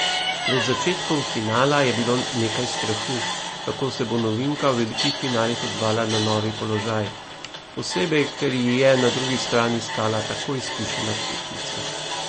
Pred začetkom finala je bilo nekaj strahu, kako se bo novinka v velikih finalih odzvala na novi položaj, posebej ker ji je na drugi strani stala tako izkušena tekmica.